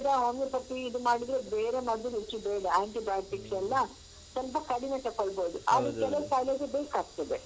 Homeopathy ಇದು ಮಾಡಿದ್ರೂ ಬೇರೆ ಮದು ಹೆಚ್ಚು ಬೇಡ antibiotics ಲ್ಲ ಸ್ವಲ್ಪ ಕಡಿಮೆ ತಕೋಳ್ಬೋದು ಆದ್ರೂ ಕೆಲವು ಕಾಯಿಲೆಗೆ ಬೇಕಾಗ್ತದೆ.